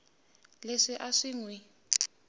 leswi a swi n wi